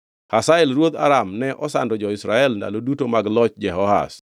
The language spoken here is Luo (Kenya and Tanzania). Hazael ruodh Aram ne osando jo-Israel ndalo duto mag loch Jehoahaz.